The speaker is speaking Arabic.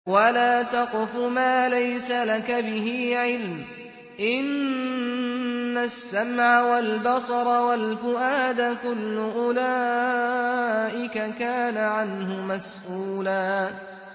وَلَا تَقْفُ مَا لَيْسَ لَكَ بِهِ عِلْمٌ ۚ إِنَّ السَّمْعَ وَالْبَصَرَ وَالْفُؤَادَ كُلُّ أُولَٰئِكَ كَانَ عَنْهُ مَسْئُولًا